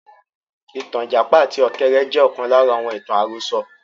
Ìtàn Ìjàpá àti Ọ̀kẹ́rẹ́ jẹ́ ọ̀kan lára àwọn ìtàn àròsọ